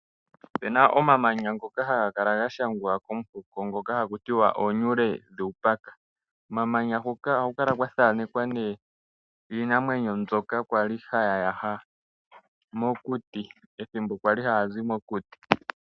Opena omamanya ngoka haga kala gashangwa komuhoko ngoka hakutiwa oonyule dhuupaka. omamanya hoka ohaku kala kwathanekwa nee iinamwenyo mbyoka haya yaha mokuti pethimbo kwali haya zi mokuti.